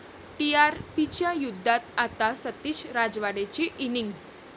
टीआरपीच्या युद्धात आता सतीश राजवाडेची इनिंग